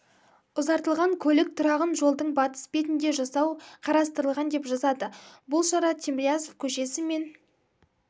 ұзартылған көлік тұрағын жолдың батыс бетінде жасау қарастырылған деп жазады бұл шара тимирязев көшесі мен